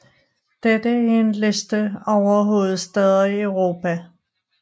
Dette er en liste over hovedstæder i Europa